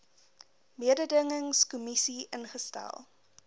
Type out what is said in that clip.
mededingings kommissie ingestel